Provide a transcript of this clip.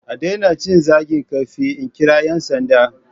A daina cin zagin kafin in kira 'yan sanda.